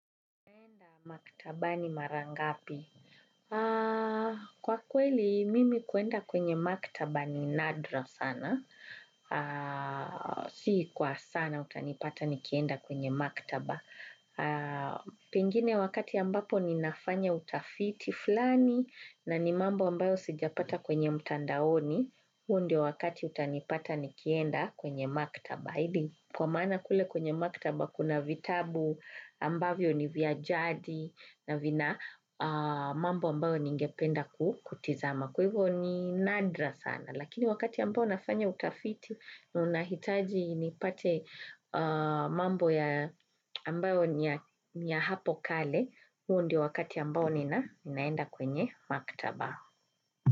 Makitabani mara ngapi. Kwa kweli, mimi kuenda kwenye makitaba ni nadra sana. Sii kwa sana utanipata nikienda kwenye makitaba. Pengine wakati ambapo ninafanya utafiti fulani na ni mambo ambayo sijapata mtandaoni huo ndio wakati utanipata nikienda kwenye maktaba. Hidi kwa mana kule kwenye maktaba kuna vitabu ambavyo ni viajadi na vina mambo ambayo ningependa kutizama. Kwa hivyo ni nadra sana. Lakini wakati ambayo nafanya utafiti na unahitaji nipate mambo ambayo niya hapo kale huo ndio wakati ambayo ninaenda kwenye maktaba.